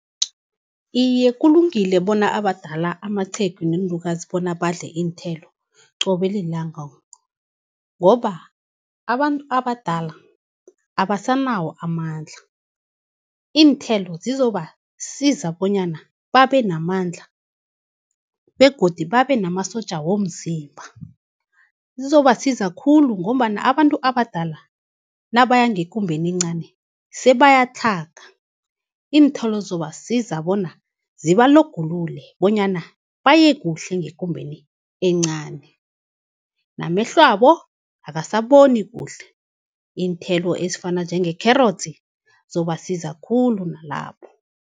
Iye kulungile bona abadala amaqhegu, neenlukazi bona badle iinthelo qobe lilanga, ngoba abantu abadala abasanawo amandla. Iinthelo zizobasiza bonyana babe namandla begodu babe namasotja womzimba. Zizobasiza khulu ngombana abantu abadala nabaya ngekumbeni encani sebayatlhaga, iinthelo zizobasiza bona zibalogulule, bonyana baye kuhle ngekumbeni encani. Namehlwabo akasaboni kuhle, iinthelo ezifana njengekherotsi zizobasiza khulu nalapho.